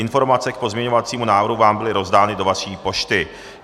Informace k pozměňovacímu návrhu vám byly rozdány do vaší pošty.